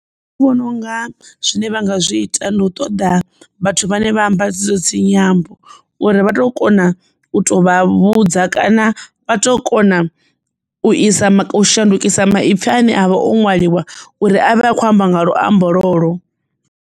Nṋe ndi vhona unga zwine vha nga zwi ita ndi u ṱoḓa vhathu vhane vha amba dzedzo dzinyambo uri vha tou kona u to vha vhudza kana vha tou kona u isa shandukisa maipfi ane avha o ṅwaliwa uri avhe a khou amba nga luambo lwolwo.